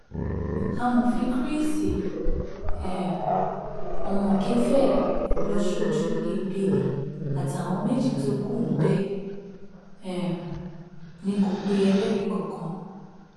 amòfin chris um omokefẹ lọ sójú ebele àtàwọn méjì tó kù bẹẹ um ni kò pe ẹlẹrìí kankan